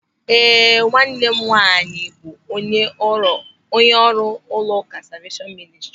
Ee, nwanne m nwaanyị bụ onye ọrụ n'ụlọụka Salveeshọn Mịnịstrị.